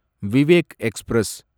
Vivek express